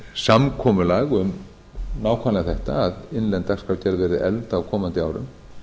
samkomulag um nákvæmlega þetta að innlend dagskrárgerð verði efld á komandi árum